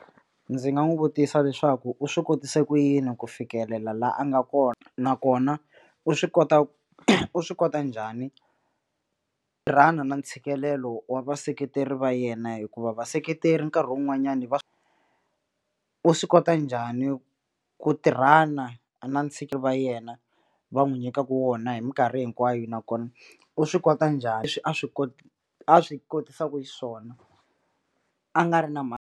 Ndzi nga n'wi vutisa leswaku u swi kotise ku yini ku fikelela la a nga kona nakona u swi kota u swi kota njhani tirhana na ntshikelelo wa vaseketeri va yena hikuva vaseketeri nkarhi wun'wanyana va u swi kota njhani ku tirhana na va yena va n'wi nyikaka wona hi minkarhi hinkwayo nakona u swi kota njhani leswi a swi a swi kotisaku xiswona a nga ri na .